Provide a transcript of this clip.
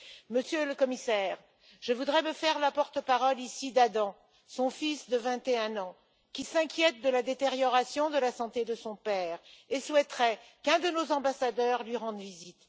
Monsieur le Commissaire, je voudrais me faire la porte parole ici d'Adam, son fils de 21 ans, qui s'inquiète de la détérioration de la santé de son père et souhaiterait qu'un de nos ambassadeurs lui rende visite.